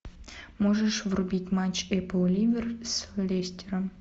можешь врубить матч апл ливер с лестером